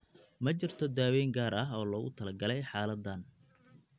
Ma jirto daaweyn gaar ah oo loogu talagalay xaaladdan.